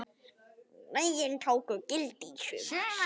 Lögin tóku gildi í sumar.